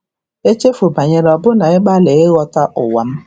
Echefu banyere ọbụna ịgbalị ụwa m.